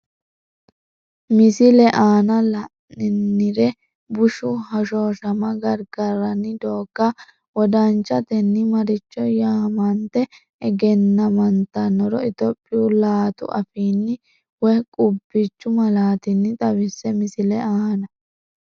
Misile aana la’nannire bushshu hoshooshama gargarranni doogga wodanchatenni maricho yaamante egennammantannoro Itophiyu laatu afiinni woy qubbichu malaatinni xawisse Misile aana.